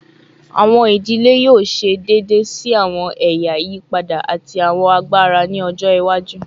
Awọn idile yoo ṣe deede si awọn ẹya iyipada ati awọn agbara ni ọjọ iwaju